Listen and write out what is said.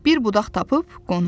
Bir budaq tapıb qonum.